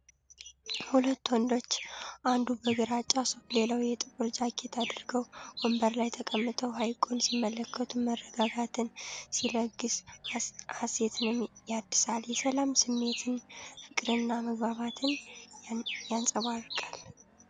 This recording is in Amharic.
ሁለት ወንዶች አንዱ በግራጫ ሱፍ ሌላው ጥቁር ጃኬት አድርገው፤ ወንበር ላይ ተቀምጠው ሐይቁን ሲመለከቱ መረጋጋትን ሲለግስ ሀሴትንም ያድሳል :: የሰላም ስሜትን፣ ፍቅርንና መግባባትን ያንፀባርቃል::